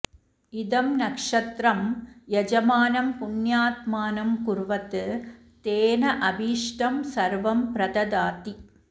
इदं नक्षत्रं यजमानं पुण्यात्मानं कुर्वत् तेन अभीष्टं सर्वं प्रददाति